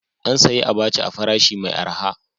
An sayi abaca a farashi mai araha.